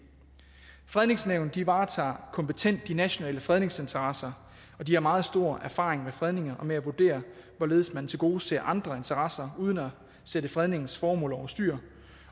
fredningsnævnet varetager kompetent de nationale fredningsinteresser og de har meget stor erfaring med fredninger og med at vurdere hvorledes man tilgodeser andre interesser uden at sætte fredningens formål overstyr